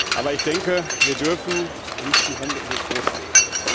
Aber ich denke, wir dürfen nicht die Hände in den Schoß legen.